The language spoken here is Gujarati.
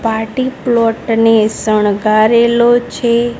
પાર્ટી પ્લોટ ને સણગારેલો છે.